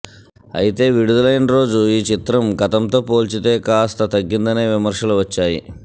అయితే విడుదలైన రోజు ఈ చిత్రం గతంతో పోల్చితే కాస్త తగ్గిందనే విమర్శలు వచ్చాయి